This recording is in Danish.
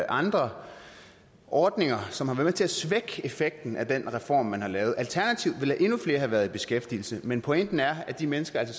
andre ordninger som har været med til at svække effekten af den reform man har lavet alternativt ville endnu flere have været i beskæftigelse men pointen er at de mennesker så